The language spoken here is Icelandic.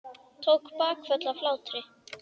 Tók bakföll af hlátri.